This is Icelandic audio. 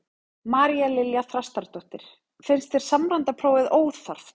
María Lilja Þrastardóttir: Finnst þér samræmda prófið óþarft?